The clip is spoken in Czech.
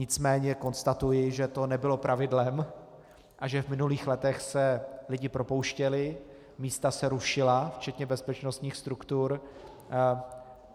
Nicméně konstatuji, že to nebylo pravidlem a že v minulých letech se lidé propouštěli, místa se rušila, včetně bezpečnostních struktur.